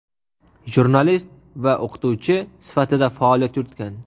jurnalist va o‘qituvchi sifatida faoliyat yuritgan.